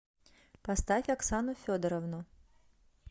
поставь оксану федоровну